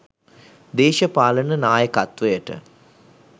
දේශපාලන නායකත්වයට